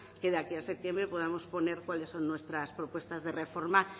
que de aquí a septiembre podamos poner cuáles son nuestras propuestas de reforma